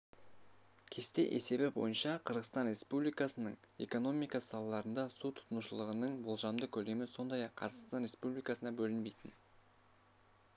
кесте есебі бойынша қырғызстан республикасының экономика салаларында су тұтынушылығының болжамды көлемі сондай-ақ қазақстан республикасына бөлінбейтін